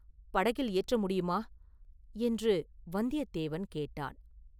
படகில் ஏற்ற முடியுமா?” என்று வந்தியத்தேவன் கேட்டான்.